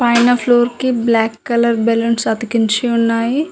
పైన ఫ్లోర్ కి black colour balloons అతికించి ఉన్నాయి.